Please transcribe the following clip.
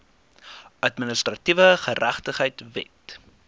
administratiewe geregtigheid wet